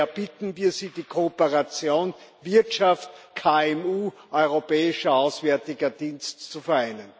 Daher bitten wir Sie, die Kooperation Wirtschaft KMU Europäischer Auswärtiger Dienst zu vereinen.